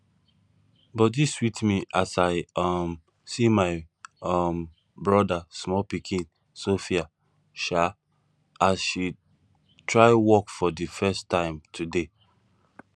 body sweet me as i um see my um brother small pikin sophia um as she try walk for the first time today